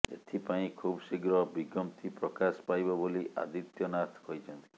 ଏଥିପାଇଁ ଖୁବଶୀଘ୍ର ବିଜ୍ଞପ୍ତି ପ୍ରକାଶ ପାଇବ ବୋଲି ଆଦିତ୍ୟନାଥ କହିଛନ୍ତି